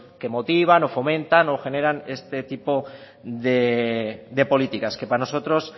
que motivan lo fomentan o generan este tipo de políticas que para nosotros